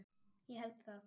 Ég held það